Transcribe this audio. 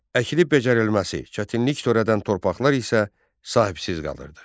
Əkilib becərilməsi, çətinlik törədən torpaqlar isə sahibsiz qalırdı.